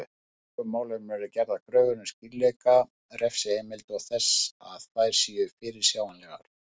Í slíkum málum eru gerðar kröfur um skýrleika refsiheimilda og þess að þær séu fyrirsjáanlegar.